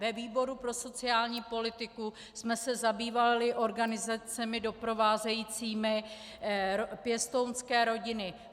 Ve výboru pro sociální politiku jsme se zabývali organizacemi doprovázejícími pěstounské rodiny.